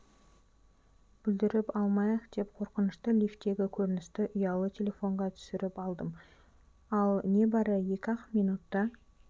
бүлдіріп алмайық деп қорқынышты лифтегі көріністі ұялы телефонға түсіріп алдым ал не бары екі-ақ минутта